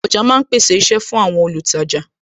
Ọjà ma ń pèsè iṣẹ́ fún àwọn olùtajà